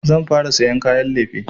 Zan fara sayan kayan lefe.